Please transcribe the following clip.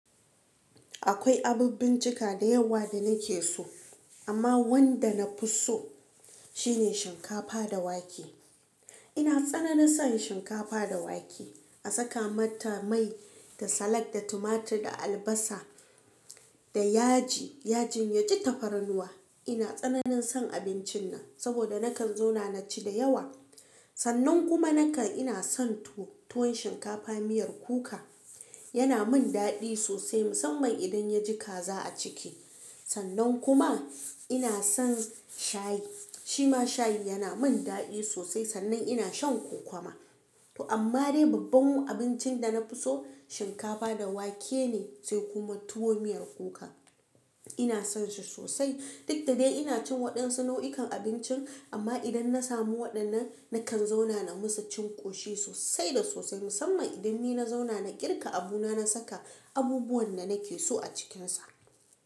Akwai abin bincika da yawa da nake so, amma wanda na fi so shine shinkafa da wake. Ina tsananin son shinkafa da wake. A saka mata mai da salak, da tumatur, da albasa da yaji. Yajin ya ji tafarnuwa. Ina tsananin son abincin nan saboda nakan zauna na ci da yawa. Sannan kuma nakan ina son tuwo. Tuwon shinkafa miyar kuka yana min daɗi sosai musamman idan ya ji kaza a ciki. Sannan kuma ina son shayi. Shima shayi yana min daɗi sosai. Sannan ina shan kokwamba. To amma dai babban abincin da na fi so shinkafa da wake ne, sai kuma tuwo miyar kuka. Ina son shi sosai. Duk da dai ina cin waɗansu nau'ikan abinci amma idan na samu waɗannan nakan zauna na musu cin ƙoshi sosai da sosai. Musamman idan ni na zauna na ƙirga abu na saka abubuwan da nake so a cikinsa.